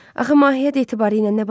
Axı Mahiyyət etibarilə nə baş verib?